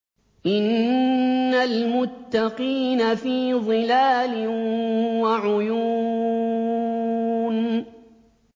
إِنَّ الْمُتَّقِينَ فِي ظِلَالٍ وَعُيُونٍ